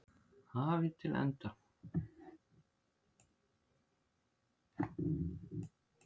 hafi til enda.